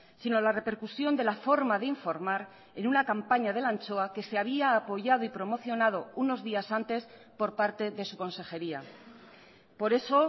sino la repercusión de la forma de informar en una campaña de la anchoa que se había apoyado y promocionado unos días antes por parte de su consejería por eso